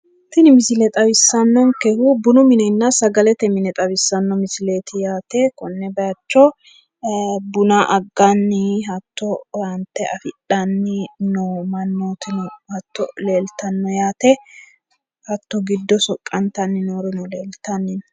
Tini misile xawissannonkehu bunu minenna sagalete mine xawissanno misileti yaate. konne bayicho buna agganni owaante afidhnni noo mannootino hatto leeltanno yaate hatto giddo soqqantanni noorino leeltanni no.